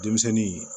Denmisɛnnin